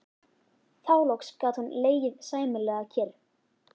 Þá loks gat hún legið sæmilega kyrr.